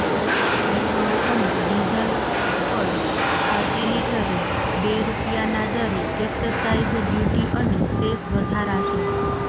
petrol અને diesel પર પ્રતિ લિટરે બે રૂપિયાના દરે એક્સસાઈઝ ડ્યૂટી અને સેસ વધારાશે